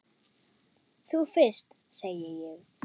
Þú fyrst, segi ég.